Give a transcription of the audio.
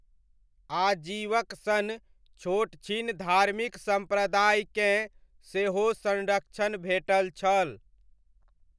आजीवक सन छोटछिन धार्मिक सम्प्रदायकेँ सेहो संरक्षण भेटल छल।